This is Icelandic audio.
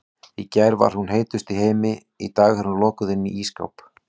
Í gær var hún heitust í heimi, í dag er hún lokuð inni í ísskáp.